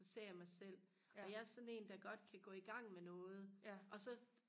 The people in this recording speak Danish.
så ser jeg mig selv og jeg er sådan en der godt kan gå i gang med noget og så